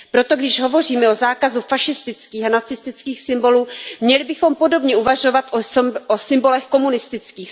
Proto když hovoříme o zákazu fašistických a nacistických symbolů, měli bychom podobně uvažovat o symbolech komunistických.